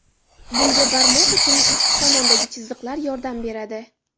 Bunga barmoq uchining ichki tomonidagi chiziqlar yordam beradi.